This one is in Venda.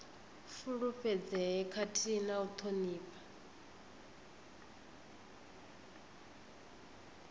fulufhedzee khathihi na u thonifha